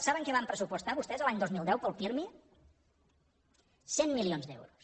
saben què van pressupostar vostès l’any dos mil deu per al pirmi cent milions d’euros